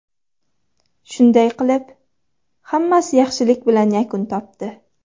Shunday qilib, hammasi yaxshilik bilan yakun topdi.